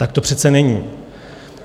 Tak to přece není.